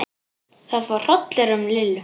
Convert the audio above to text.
Það fór hrollur um Lillu.